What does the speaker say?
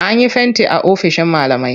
An yi fenti a ofishin malamai.